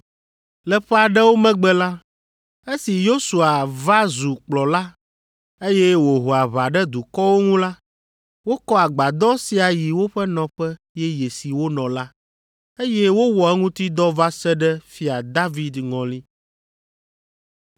Le ƒe aɖewo megbe la, esi Yosua va zu kplɔla, eye wòho aʋa ɖe dukɔwo ŋu la, wokɔ agbadɔ sia yi woƒe nɔƒe yeye si wonɔ la, eye wowɔ eŋuti dɔ va se ɖe Fia David ŋɔli.